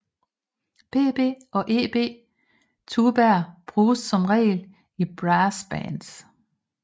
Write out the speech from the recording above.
Bb og Eb tubaer bruges som regel i brassbands